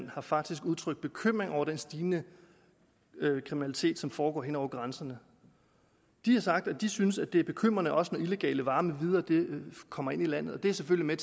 har faktisk udtrykt bekymring over den stigende kriminalitet som foregår hen over grænserne de har sagt at de synes at det er bekymrende også når illegale varer med videre kommer ind i landet og at det selvfølgelig